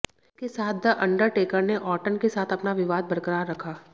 इसके साथ the Undertaker ने और्टन के साथ अपना विवाद बरक़रार रखा